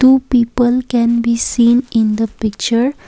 two people can be seen in the picture.